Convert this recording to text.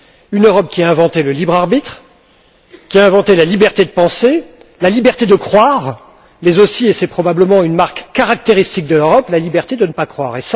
Une Europe qui a inventé le libre arbitre, qui a inventé la liberté de penser, la liberté de croire mais aussi et c'est probablement une marque caractéristique de l'Europe la liberté de ne pas croire.